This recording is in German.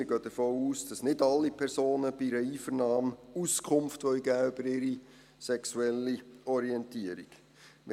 Wir gehen davon aus, dass nicht alle Personen bei einer Einvernahme Auskunft über ihre sexuelle Orientierung geben wollen.